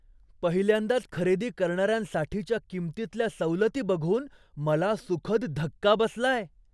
पहिल्यांदाच खरेदी करणाऱ्यांसाठीच्या किंमतीतल्या सवलती बघून मला सुखद धक्का बसलाय.